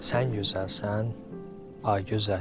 Sən gözəlsən, ay gözəl.